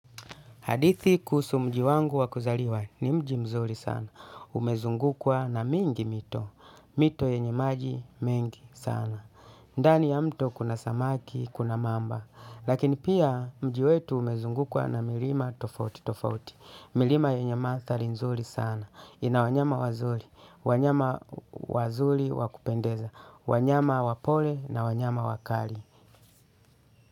Hadithi kuhusu mji wangu wa kuzaliwa ni mji mzuri sana. Umezungukwa na mingi mito. Mito yenye maji mengi sana. Ndani ya mto kuna samaki, kuna mamba. Lakini pia mji wetu umezungukwa na milima tofauti tofauti. Milima yenye manthari nzuri sana. Ina wanyama wazuri. Wanyama wazuri wakupendeza. Wanyama wapole na wanyama wakali.